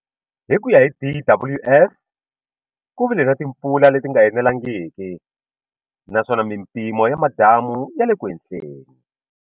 Hi ku ya hi DWS ku vile na timpfula leti nga enelangiki naswona mimpimo ya madamu ya le ku enhleni.